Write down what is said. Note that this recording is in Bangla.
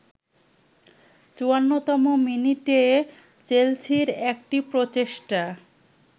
৫৪তম মিনিটে চেলসির একটি প্রচেষ্টা